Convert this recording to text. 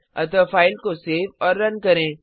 अतः फ़ाइल को सेव और रन करें